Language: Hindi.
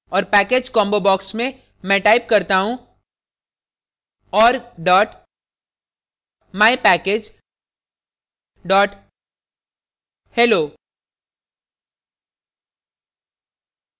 और package कोम्बोबोक्स में मैं type करता हूँ org mypackage hello